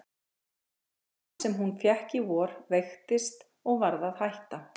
Stelpan sem hún fékk í vor veiktist og varð að hætta.